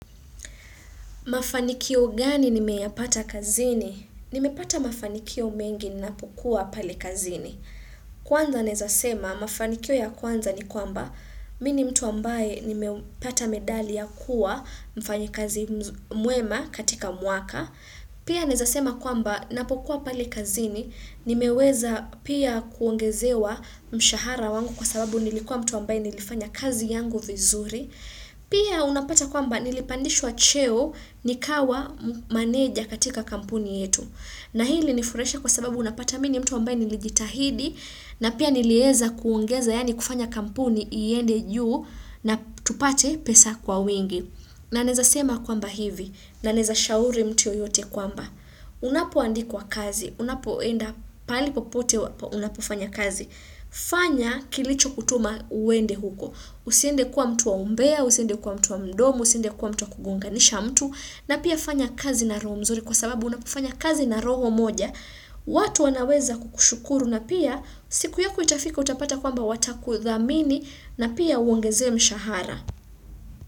Mafanikio gani nimeyapata kazini? Nimepata mafanikio mengi ninapokua pale kazini. Kwanza nawezasema mafanikio ya kwanza ni kwamba mimi mtu ambaye nimepata medali ya kuwa mfanyikazi mwema katika mwaka. Pia nawezasema kwamba napokuwa pale kazini nimeweza pia kuongezewa mshahara wangu kwa sababu nilikuwa mtu ambaye nilifanya kazi yangu vizuri. Pia unapata kwamba nilipandishwa cheo nikawa maneja katika kampuni yetu. Na hii inifurahisha kwa sababu unapata mimi mtu ambaye nilijitahidi na pia nilieza kuongeza yani kufanya kampuni iende juu na tupate pesa kwa wingi. Na naweza sema kwamba hivi. Na naweza shauri mtu yoyote kwamba. Unapo andikwa kazi. Unapoenda pahali popote unapofanya kazi. Fanya kilicho kutuma uende huko. Usiende kwa mtu wa umbea, usiende kwa mtu wa mdomo, usiende kwa mtu wa kugonganisha mtu. Na pia fanya kazi na roho mzuri kwa sababu unapofanya kazi na roho moja. Watu wanaweza kukushukuru na pia siku yako itafika utapata kwamba watakudhamini na pia uongezewe mshahara.